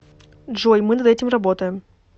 джой мы над этим работаем